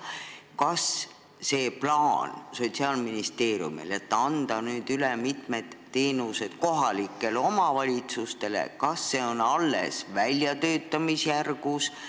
Kas Sotsiaalministeeriumi plaan anda nüüd mitmed teenused üle kohalikele omavalitsustele on alles väljatöötamisjärgus?